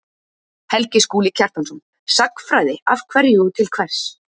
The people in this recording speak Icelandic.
Helgi Skúli Kjartansson: Sagnfræði, af hverju og til hvers